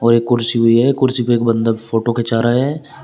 एक कुर्सी भी है कुर्सी पे एक बंदा फोटो खींचा रहा है।